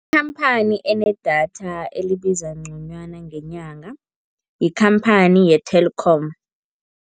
Ikhamphani enedatha elibiza ngconywana ngenyanga yikhamphani ye-Telkom